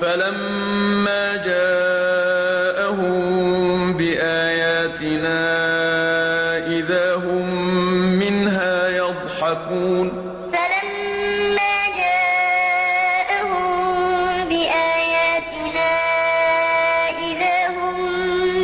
فَلَمَّا جَاءَهُم بِآيَاتِنَا إِذَا هُم مِّنْهَا يَضْحَكُونَ فَلَمَّا جَاءَهُم بِآيَاتِنَا إِذَا هُم